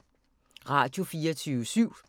Radio24syv